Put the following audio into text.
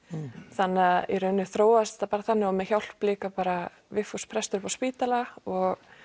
þannig að í rauninni þróaðist þetta bara þannig og með hjálp líka bara Vigfús prestur upp á spítala og